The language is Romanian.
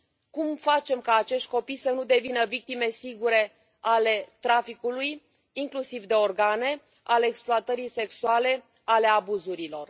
Cum facem ca acești copii să nu devină victime sigure ale traficului, inclusiv de organe, ale exploatării sexuale, ale abuzurilor?